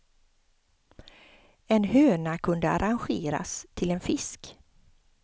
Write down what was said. En höna kunde arrangeras till en fisk.